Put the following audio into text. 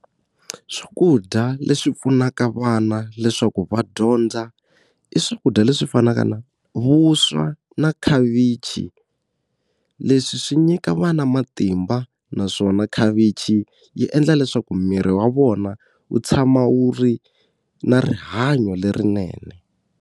Swakudya leswi pfunaka vana leswaku va dyondza i swakudya leswi fanaka na vuswa na khavichi leswi swi nyika vana matimba naswona khavichi yi endla leswaku miri wa vona wu tshama wu ri na rihanyo lerinene.